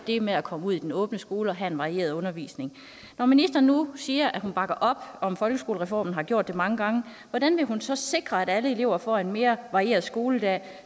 det med at komme ud i den åbne skole og have en varieret undervisning når ministeren nu siger at hun bakker op om folkeskolereformen og har gjort det mange gange hvordan vil hun så sikre at alle elever får en mere varieret skoledag